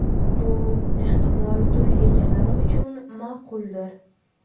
Bu, ehtimol to‘y egalari uchun ma’quldir.